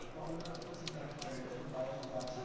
তখন তো তোকে চিন্তা করতে হবে না তোর বাবা মা তো আছেই।